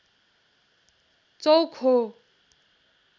चौक हो